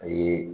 A ye